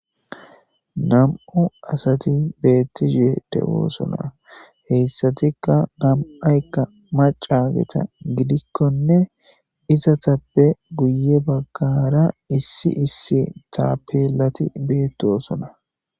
Nam'u asati beettishe doosona .Heyssatikka nam'aykka macageta gidikkonne izatappe guye baggara issi issi taapilati beettosona.